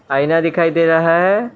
आईना दिखाई दे रहा है।